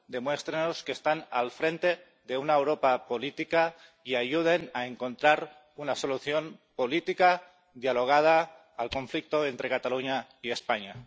demuéstrennos que están al frente de una Europa política y ayuden a encontrar una solución política dialogada al conflicto entre Cataluña y España.